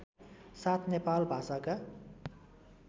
साथ नेपाल भाषाका